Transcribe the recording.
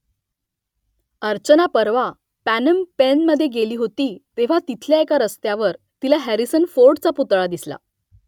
अर्चना परवा पॅनम पेनमधे गेली होती तेव्हा तिथल्या एका रस्त्यावर तिला हॅरिसन फोर्डचा पुतळा दिसला